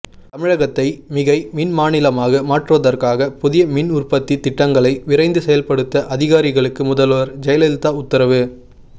தமிழகத்தை மிகை மின்மாநிலமாக மாற்றுவதற்காக புதிய மின்உற்பத்தி திட்டங்களை விரைந்து செயல்படுத்த அதிகாரிகளுக்கு முதல்வர் ஜெயலலிதா உத்தரவு